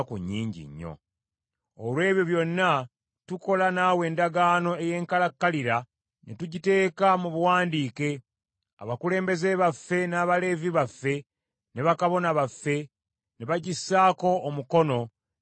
“Olw’ebyo byonna, tukola naawe endagaano ey’enkalakkalira, ne tugiteeka mu buwandiike; abakulembeze baffe, n’Abaleevi baffe, ne bakabona baffe ne bagissaako omukono n’envumbo zaabwe.”